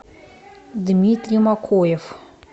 дмитрий макоев